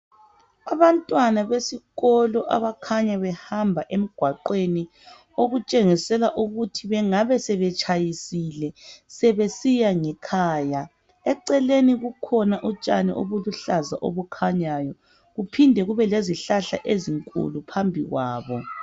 Abantwana besikolo abakhanya behamba emgwaqweni okutshengisela ukuthi bengabe sebetshayisile sebesiya ngekhaya. Eceleni bukhona utshani obuluhlaza obukhanyayo kuphinde kubelezihlahla ezinkulu.